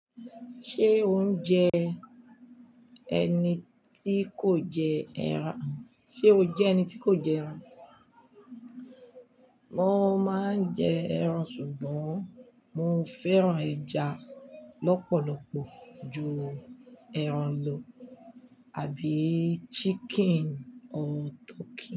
Ṣé o ń jẹ ẹni tí kò jẹ ẹran? Ṣé o jẹ́ ẹni tí kò jẹ ẹran? Mo máa ń jẹ ẹran, ṣùgbọ́n mo fẹ́ràn ẹja lọ́pọ̀lọpọ̀ ju ẹran lo àbí chicken or turkey.